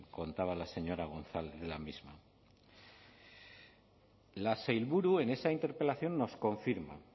contaba la señora gonzález en la misma la sailburu en esa interpelación nos confirma